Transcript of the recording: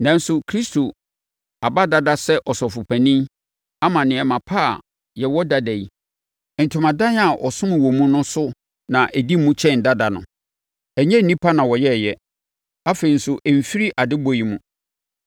Nanso, Kristo aba dada sɛ Ɔsɔfopanin ama nneɛma pa a yɛwɔ dada yi. Ntomadan a ɔsom wɔ mu no so na ɛdi mu kyɛn dada no. Ɛnnyɛ nnipa na wɔyɛeɛ. Afei nso, ɛmmfiri adebɔ yi mu.